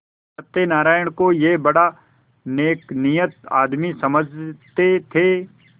सत्यनाराण को यह बड़ा नेकनीयत आदमी समझते थे